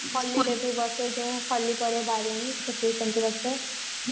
ଯୋଉ ହୋଲିକା ରେ ବାରେଣୀ